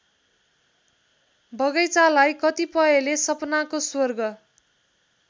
बगैंचालाई कतिपयले सपनाको स्वर्ग